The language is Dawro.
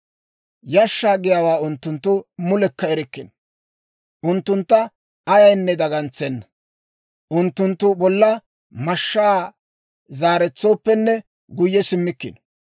Yashshaa giyaawaa unttunttu mulekka erikkino; unttuntta ayaynne dagantsenna; unttunttu bolla mashshaa zaaretsooppenne guyye simmikkino.